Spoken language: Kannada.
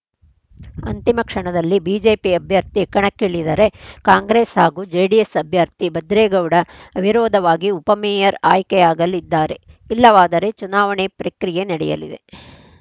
ಅಂತಿಮ ಕ್ಷಣದಲ್ಲಿ ಬಿಜೆಪಿ ಅಭ್ಯರ್ಥಿ ಕಣಕ್ಕಿಳಿದರೆ ಕಾಂಗ್ರೆಸ್‌ ಹಾಗೂ ಜೆಡಿಎಸ್‌ ಅಭ್ಯರ್ಥಿ ಭದ್ರೇಗೌಡ ಅವಿರೋಧವಾಗಿ ಉಪಮೇಯರ್‌ ಆಯ್ಕೆಯಾಗಲಿದ್ದಾರೆ ಇಲ್ಲವಾದರೆ ಚುನಾವಣೆ ಪ್ರಕ್ರಿಯೆ ನಡೆಯಲಿದೆ